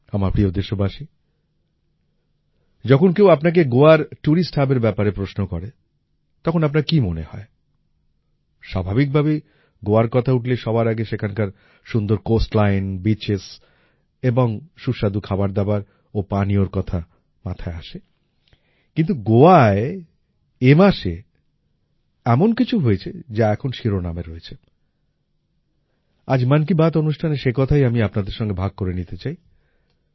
আমার প্রিয় দেশবাসী যখন কেউ আপনাকে গোয়ার টুরিস্ট Hubএর ব্যাপারে প্রশ্ন করে তখন আপনার কি মনে হয় স্বাভাবিকভাবেই গোয়ার কথা উঠলেই সবার আগেই সেখানকার সুন্দর কোস্টলাইন বিচেস এবং সুস্বাদু খাবার দাবার ও পানীয়র কথা মাথায় আসে কিন্তু গোয়ায় এ মাসে এমন কিছু হয়েছে যা এখন শিরোনামে রয়েছে আজ মন কি বাত অনুষ্ঠানে সে কথাই আমি আপনাদের সঙ্গে ভাগ করে নিতে চাই